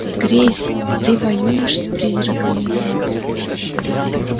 грейс ты воюешь с призраками